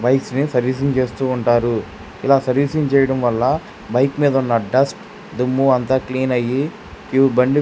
Bike నీ servicing చేస్తూ ఉంటారు. ఇలా సర్వీసింగ్ చేయడం వల్ల బైక్ మీద ఉన్న డస్ట్ దుమ్ము అంత క్లీన్ అయ్యి ఈ బండి.